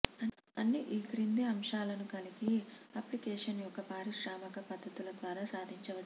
అన్ని ఈ క్రింది అంశాలను కలిగి అప్లికేషన్ యొక్క పారిశ్రామిక పద్దతుల ద్వారా సాధించవచ్చు